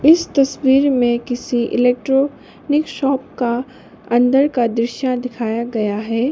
इस तस्वीर में किसी इलेक्ट्रॉनिक शॉप का अंदर का दृश्य दिखाया गया है।